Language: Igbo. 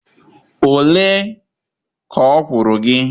ole ka ọ kwụrụ gị?